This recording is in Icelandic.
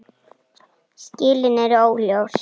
Skilin eru óljós.